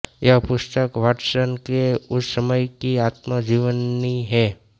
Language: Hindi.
यह पुस्तक वाटसन के उस समय की आत्म जीवनी है